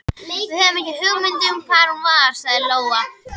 Við höfum ekki hugmynd um hvar hún er, sagði Lóa.